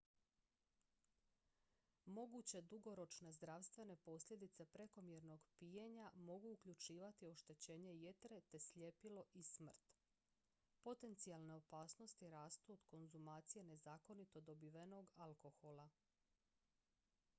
moguće dugoročne zdravstvene posljedice prekomjernog pijenja mogu uključivati oštećenje jetre te sljepilo i smrt potencijalne opasnosti rastu od konzumacije nezakonito dobivenog alkohola